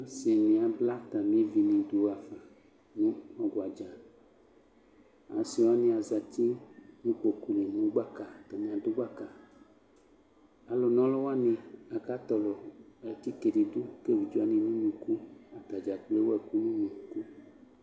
Asɩnɩ abla atamɩ evinɩ dʋ ɣa fa nʋ ɔgba dza Asɩ wanɩ azati nʋ ikpoku li nʋ gbaka, atanɩ adʋ gbaka Alʋna ɔlʋ wanɩ akatɔlɔ atike dɩ dʋ ka evidze wanɩ nʋ unuku Ata dza kplo ewu ɛkʋ nʋ unuku